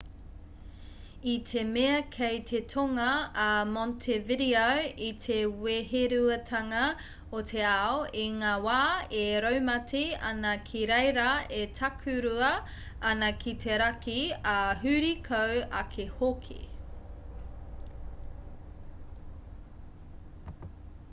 i te mea kei te tonga a montevideo i te weheruatanga o te ao i ngā wā e raumati ana ki reira e takurua ana ki te raki ā huri kau ake hoki